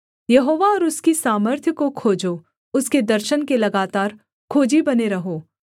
यहोवा और उसकी सामर्थ्य को खोजो उसके दर्शन के लगातार खोजी बने रहो